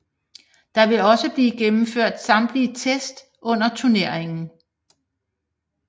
Der vil også blive gennemført samtlige test under turneringen